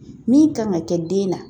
Min kan ka kɛ den na